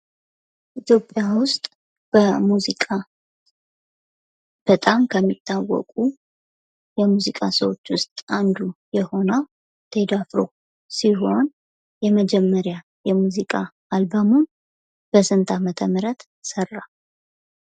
ኢትዮጵያ ውስጥ በሙዚቃ በጣም ከሚታወቁ የሙዚቃ ሰዎች ውስጥ አንዱ የሆነው ቴዲ አፍሮ ሲሆን የመጀመሪያ የሙዚቃ አልበሙን በስንት ዓመተ ምህረት ስራ ?